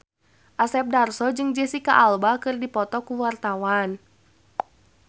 Asep Darso jeung Jesicca Alba keur dipoto ku wartawan